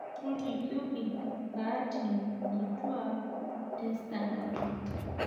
tolikioki nkaatini kituak testandard